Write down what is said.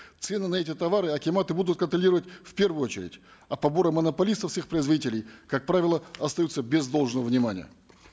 цены на эти товары акиматы будут контролировать в первую очередь а поборы монополистов с их производителей как правило остаются без должного внимания